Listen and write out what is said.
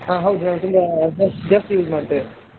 ಹಾ ಹೌದು ಹೌದು ತುಂಬಾ ಜಾಸ್ತಿ use ಮಾಡ್ತೇವೆ.